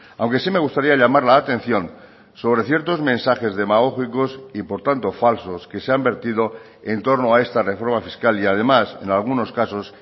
aunque sí me gustaría llamar la atención sobre ciertos mensajes demagógicos y por tanto falsos que se han vertido en torno a esta reforma fiscal y además en algunos casos